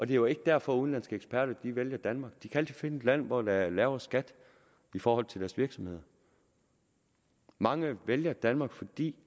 jo ikke derfor udenlandske eksperter vælger danmark de kan altid finde et land hvor der er lavere skat i forhold til deres virksomhed mange vælger danmark fordi